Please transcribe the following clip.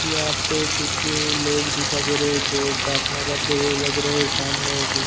यहां पे कुछ लोग दिखा दे रहे हैं जो प्राथना करते हुए लग रहे हैं सामने--